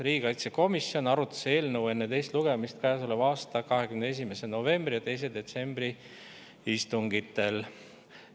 Riigikaitsekomisjon arutas eelnõu enne teist lugemist käesoleva aasta 21. novembri ja 2. detsembri istungil.